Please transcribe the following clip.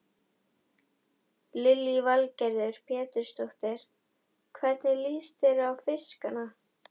Lillý Valgerður Pétursdóttir: Hvernig líst þér á fiskana?